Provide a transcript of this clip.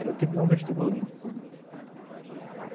Era o tipo de um vestibulinho